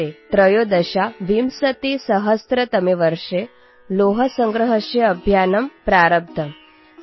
୨୦୧୩ ମସିହାରେ ତାଙ୍କ ପ୍ରତିମୂର୍ତ୍ତି ନିର୍ମାଣ ପାଇଁ ଲୁହା ସଂଗ୍ରହ ଅଭିଯାନ ଆରମ୍ଭ ହୋଇଥିଲା